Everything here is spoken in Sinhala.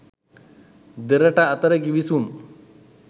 දෙරට අතර ගිවිසුම්